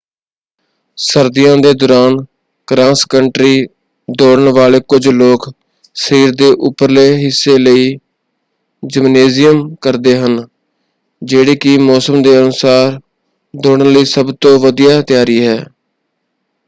ਸਰਦੀਆਂ ਦੇ ਦੌਰਾਨ ਕ੍ਰਾਸ ਕੰਟਰੀ ਦੌੜਨ ਵਾਲੇ ਕੁਝ ਲੋਕ ਸਰੀਰ ਦੇ ਉਪਰਲੇ ਹਿੱਸੇ ਲਈ ਜਿਮਨੇਜ਼ੀਅਮ ਕਰਦੇ ਹਨ ਜਿਹੜੀ ਕਿ ਮੌਸਮ ਦੇ ਅਨੁਸਾਰ ਦੌੜਨ ਲਈ ਸਭ ਤੋਂ ਵਧੀਆ ਤਿਆਰੀ ਹੈ।